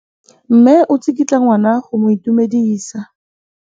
Mme o tsikitla ngwana go mo itumedisa.